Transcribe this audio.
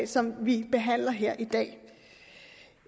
som vi behandler her i dag